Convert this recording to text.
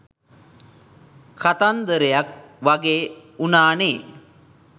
කතන්දරයක් වගේ වුනානෙ